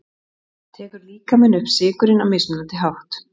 tekur líkaminn upp sykurinn á mismunandi hátt